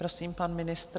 Prosím, pan ministr.